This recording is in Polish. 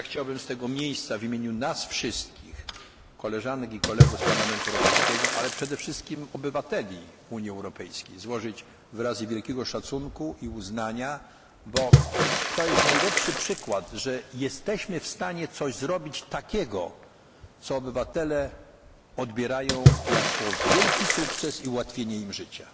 sukcesu. Chciałbym z tego miejsca w imieniu nas wszystkich, koleżanek i kolegów z Parlamentu Europejskiego, ale przede wszystkim obywateli Unii Europejskiej, złożyć wyrazy wielkiego szacunku i uznania, bo to jest najlepszy przykład, że jesteśmy w stanie dokonać czegoś, co obywatele odbierają jako wielki sukces i ułatwienie